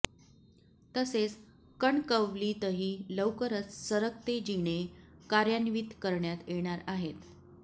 तसेच कणकवलीतही लवकरच सरकते जिने कार्यान्वित करण्यात येणार आहेत